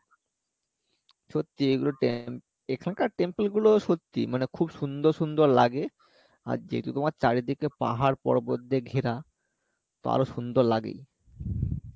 সত্যিই এগুলো temp এখানকার temple গুলো সত্যিই মানে খুব সুন্দর সুন্দর লাগে আর যেহেতু তোমার চারিদিকটা পাহাড় পর্বত দিয়ে ঘেরা তো আরও সুন্দর লাগেই